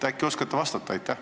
Äkki oskate vastata?